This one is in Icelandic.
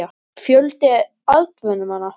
Fjöldi atvinnumanna?